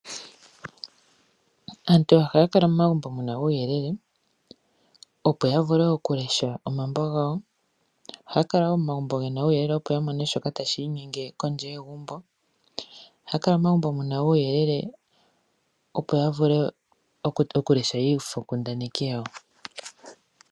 Aantu ohaya kala momagumbo mu na uuyelele opo ya vule okulesha omambo gawo, ohaya kala wo momagumbo mu na uuyelele opo ya mone shoka ta shiinyenge kondje yegumbo, aantu ohaya kala wo momagumbo mu na uuyelele opo ya vule okulesha iifonkundaneki yawo.